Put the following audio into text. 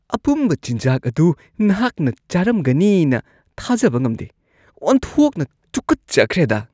ꯑꯄꯨꯝꯕ ꯆꯤꯟꯖꯥꯛ ꯑꯗꯨ ꯅꯍꯥꯛꯅ ꯆꯥꯔꯝꯒꯅꯤꯅ ꯊꯥꯖꯕ ꯉꯝꯗꯦ ꯫ ꯑꯣꯟꯊꯣꯛꯅ ꯇꯨꯀꯠꯆꯈ꯭ꯔꯦꯗ!